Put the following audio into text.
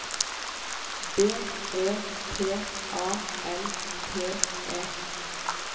B E T A L T E